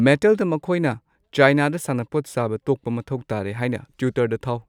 ꯃꯦꯠꯇꯦꯜꯗ ꯃꯈꯣꯏꯅ ꯆꯥꯏꯅꯥꯗ ꯁꯥꯟꯅꯄꯣꯠ ꯁꯥꯕ ꯇꯣꯛꯄ ꯃꯊꯧ ꯇꯥꯔꯦ ꯍꯥꯏꯅ ꯇ꯭ꯋꯤꯇꯔꯗ ꯊꯥꯎ